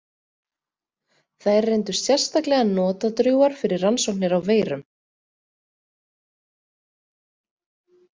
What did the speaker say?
Þær reyndust sérstaklega notadrjúgar fyrir rannsóknir á veirum.